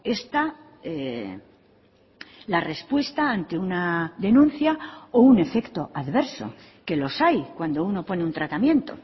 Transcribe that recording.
esta la respuesta ante una denuncia o un efecto adverso que los hay cuando uno pone un tratamiento